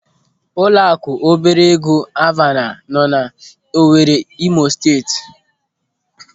Ụlọaku obere ego Alvana nọ n'Owere n'Imo Steeti.